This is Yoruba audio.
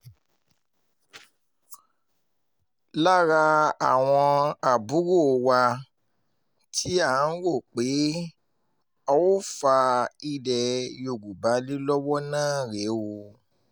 lára àwọn àbúrò wa tí à ń rò pé a óò fa ilẹ̀ yorùbá lé lọ́wọ́ náà rèé o